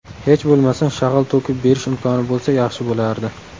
Hech bo‘lmasa shag‘al to‘kib berish imkoni bo‘lsa, yaxshi bo‘lardi.